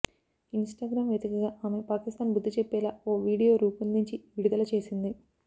in స్టాగ్రామ్ వేదికగా ఆమె పాకిస్తాన్ బుద్ది చెప్పేలా ఓ వీడియో రూపొందించి విడుదల చేసింది